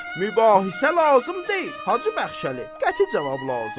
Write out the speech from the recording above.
Mübahisə lazım deyil, Hacı Bəxşəli, qəti cavab lazımdır.